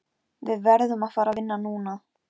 Við verðum að fara vinna núna.